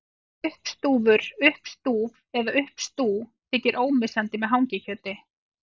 Uppstúfur, uppstúf eða uppstú þykir ómissandi með hangikjöti.